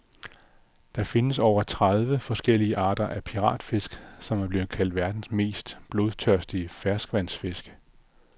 Der findes over tredive forskellige arter af piratfisk, som er blevet kaldt verdens mest blodtørstige ferskvandsfisk.